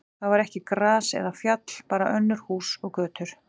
Þar var ekki gras eða fjall, bara önnur hús og götur.